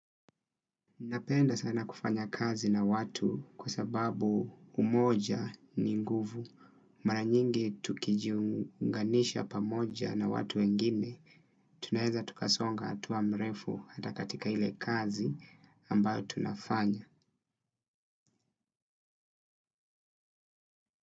Mimi napenda sana kufanya kazi na watu kwa sababu umoja ni nguvu. Mara nyingi tukijiunganisha pamoja na watu wengine. Tunaeza tukasonga hatua mrefu hata katika ile kazi ambayo tunafanya.